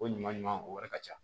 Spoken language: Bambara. Ko ɲuman ɲuman o wari ka ca